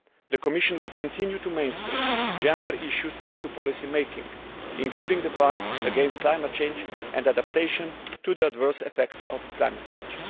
The Commission will continue to mainstream gender issues into policy making, including the fight against climate change and adaptation to the adverse effects of climate change.